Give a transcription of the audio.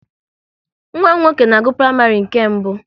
Nwa m nwoke na-agụ praịmarị nke mbụ